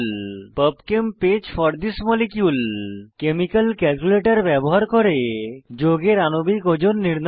pub chem page for the molecule chemical calculator ব্যবহার করে যৌগের আণবিক ওজন নির্ণয় করা